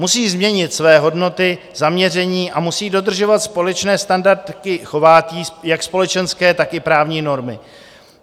Musí změnit své hodnoty, zaměření a musí dodržovat společné standardy chování, jak společenské, tak i právní normy.